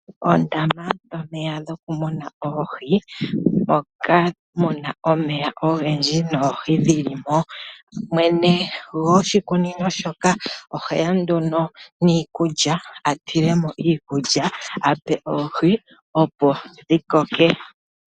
Oondama dhomeya dhokumuna oohi, ndhoka mu na omeya ogendji noohi dhi li mo. Mwene gwoshikunino shoka oheya nduno niikulya, atile mo iikulya ape oohi opo dhi koke.